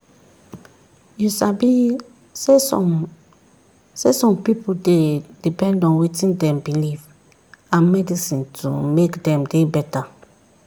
you sabi saysome saysome pipu dey depend on wetin dem believe and medicine to make dem dey beta.